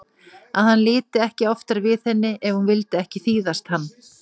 Að hann liti ekki oftar við henni ef hún vildi ekki þýðast hann.